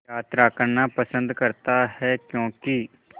यात्रा करना पसंद करता है क्यों कि